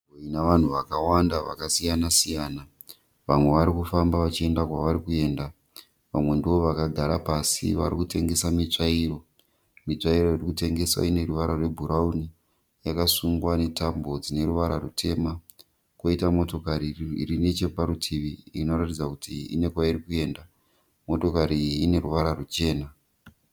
Inavanhu vakawanda vakasiyana-siyana, vamwe varikufamba vachienda kwavari kuenda. Vamwe ndivo vakagara pasi varikutengesa mitsvairo. Mitsvairo irikutengeswa ineruvara rwebhurauni, yakasungwa netambo dzineruvara rwutema. Koita motokari irinecheparutivi inoratidza kuti ine kwairi kuenda. Motokari iyi ineruvara rwuchena.